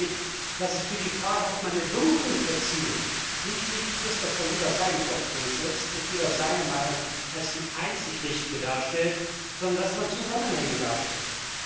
Ich glaube nämlich, dass es für die Frage, ob man eine Wirkung erzielt, nicht wichtig ist, dass jeder seinen Kopf durchsetzt und seine Meinung als die einzig richtige darstellt, sondern dass man Zusammenhänge darstellt.